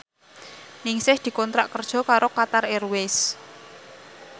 Ningsih dikontrak kerja karo Qatar Airways